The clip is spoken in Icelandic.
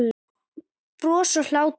Bros og hlátur.